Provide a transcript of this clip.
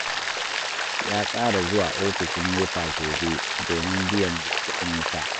Ya tsara zuwa ofishin NEPA gobe domin biyan kuɗin wuta